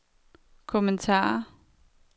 kommentar